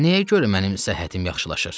Nəyə görə mənim səhhətim yaxşılaşır?